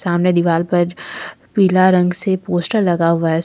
सामने दीवाल पर पीला रंग से पोस्टर लगा हुआ है सा--